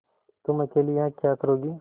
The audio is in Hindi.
तुम अकेली यहाँ क्या करोगी